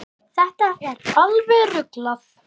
Þetta er alveg ruglað.